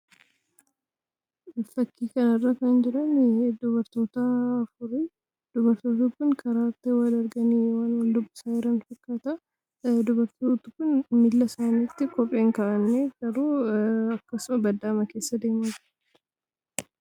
Fakkii kanarraa kan jiranii dubartoota afuriidha. Dubartoonni kun karaatti wal arganii, waan wal dubbisaa jiran fakkaata. Dubartoonni kun miilla isaaniitti kophee hin kaawwanne garuu akkasumatti baddaa keessaa deemu.